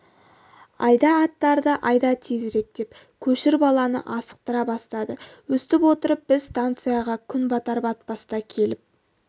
айда аттарды айда тезірек деп көшір баланы асықтыра бастады өстіп отырып біз станцияға күн батар-батпаста келіп